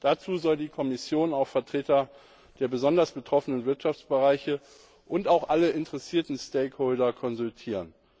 Dazu soll die Kommission auch Vertreter der besonders betroffenen Wirtschaftsbereiche und auch alle stakeholders konsultieren.